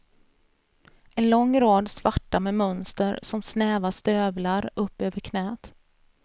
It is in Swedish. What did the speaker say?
En lång rad svarta med mönster som snäva stövlar upp över knät.